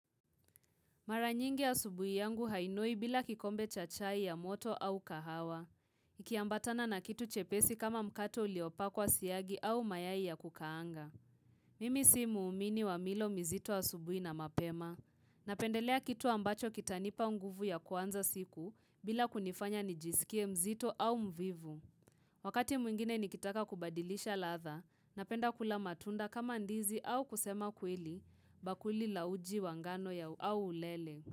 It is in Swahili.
Mara nyingi asubuhi yangu hainoi bila kikombe cha chai ya moto au kahawa. Ikiambatana na kitu chepesi kama mkate uliopakwa siagi au mayai ya kukaanga. Mimi si muumini wa milo mizito wa asubuhi na mapema. Napendelea kitu ambacho kitanipa nguvu ya kuanza siku bila kunifanya nijisikie mzito au mvivu. Wakati mwingine nikitaka kubadilisha ladha napenda kula matunda kama ndizi au kusema kweli bakuli la uji wa ngano ya au ulele.